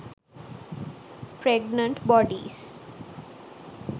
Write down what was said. pregnant bodies